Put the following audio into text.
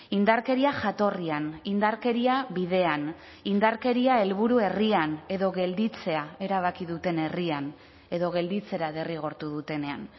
indarkeria jatorrian indarkeria bidean indarkeria helburu herrian edo gelditzea erabaki duten herrian edo gelditzera derrigortu dutenean